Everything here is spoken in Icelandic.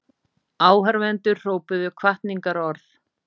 Áhorfendur hrópuðu hvatningarorð.